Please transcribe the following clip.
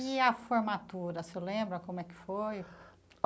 E a formatura, o senhor lembra como é que foi?